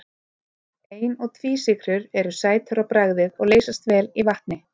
Ein- og tvísykrur eru sætar á bragðið og leysast vel í vatni.